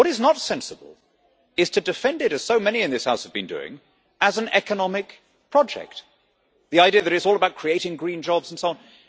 What is not sensible is to defend it as so many in this House have been doing as an economic project, the idea that it is all about creating green jobs and so on.